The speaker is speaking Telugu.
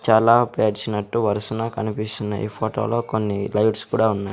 చాలా పేర్చినట్టు వరుసనా కనిపిస్తున్నాయ్ ఈ ఫోటో లో కొన్ని లైట్స్ కూడా ఉన్నాయ్.